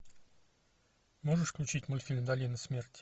можешь включить мультфильм долина смерти